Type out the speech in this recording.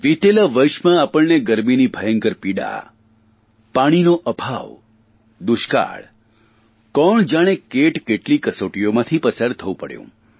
વીતેલા વર્ષોમાં આપણને ગરમીની ભયંકર પીડા પાણીનો અભાવ દુષ્કાળ કોણ જાણે કેટકેટલી કસોટીઓમાંથી પસાર થવું પડ્યું